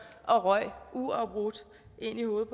og røg uafbrudt ind i hovedet